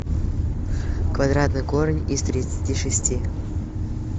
квадратный корень из тридцати шести